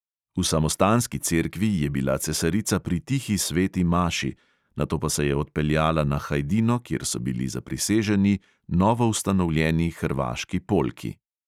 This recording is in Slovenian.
V samostanski cerkvi je bila cesarica pri tihi sveti maši, nato pa se je odpeljala na hajdino, kjer so bili zapriseženi novoustanovljeni hrvaški polki.